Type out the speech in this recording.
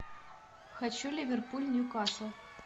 хочу ливерпуль ньюкасл